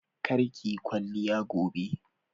Kar kiyi kwalliya gobe!